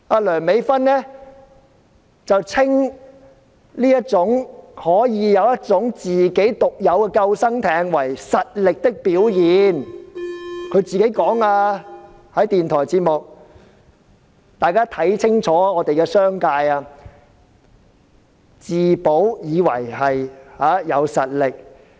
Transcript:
梁美芬議員稱這種可以有自己獨有救生艇的能力為實力的表現，她在電台節目上親口說的，大家要看清楚這些商界的面目，自保便以為是有實力。